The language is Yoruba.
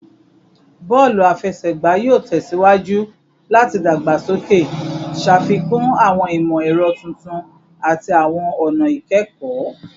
Bọọlu afẹsẹgba yoo tẹsiwaju lati dagbasoke, ṣafikun awọn imọ-ẹrọ tuntun ati awọn ọna ikẹkọ